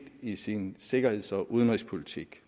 i sin sikkerheds og udenrigspolitik